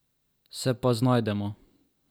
Se pa znajdemo.